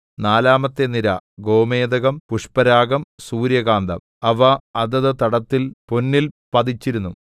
നാലാമത്തെ നിര ഗോമേദകം പുഷ്പരാഗം സൂര്യകാന്തം അവ അതത് തടത്തിൽ പൊന്നിൽ പതിച്ചിരുന്നു